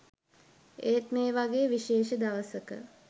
ඒත් ‍මේ වගේ විශේෂ දවසක